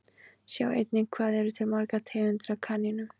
Sjá einnig Hvað eru til margar tegundir af kanínum?